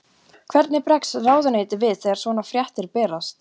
Hvernig bregst ráðuneytið við þegar svona fréttir berast?